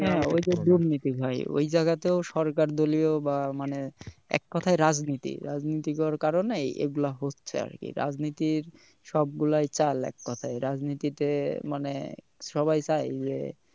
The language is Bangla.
ঐ যে দুর্নীতি ভাই ঐ জায়গাতেও সরকার দলীয় বা মানে এক কথায় রাজনীতি, রাজনীতি গড় কারণেই এগুলা হচ্ছে আরকি রাজনীতির সব গুলাই চাল এক প্রকার রাজনীতিতে মানে সবাই চায় যে